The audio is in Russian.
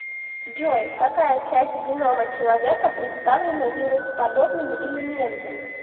джой какая часть генома человека представлена вирусоподобными элементами